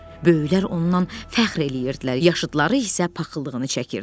Böyüklər ondan fəxr eləyirdilər, yaşıdları isə paxıllığını çəkirdilər.